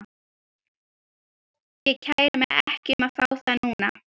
Ég kæri mig ekki um að fá þá núna.